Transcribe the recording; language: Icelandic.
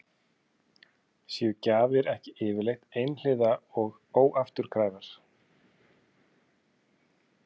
Séu gjafir ekki yfirleitt einhliða og óafturkræfar?